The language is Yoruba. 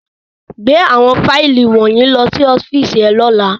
Gbe awọn faili wọnyi lọ si ọfiisi rẹ ni ọla!